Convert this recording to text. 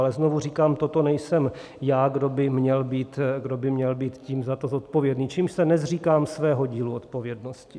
Ale znovu říkám, toto nejsem já, kdo by měl být tím za to zodpovědný, čímž se nezříkám svého dílu odpovědnosti.